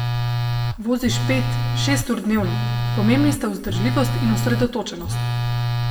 Voziš pet, šest ur dnevno, pomembni sta vzdržljivost in osredotočenost.